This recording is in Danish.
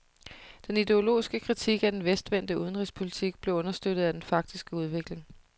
Den ideologiske kritik af den vestvendte udenrigspolitik blev understøttet af den faktiske udvikling.